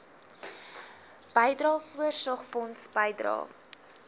bydrae voorsorgfonds bydrae